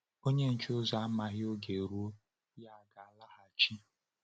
Onye nche ụzọ amaghị oge ọ̀rụ̀ọ̀ ya ga-alaghachi.